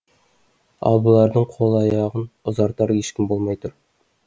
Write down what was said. ал бұлардың қол аяғын ұзартар ешкім болмай тұр